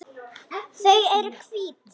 Þau eru hvít.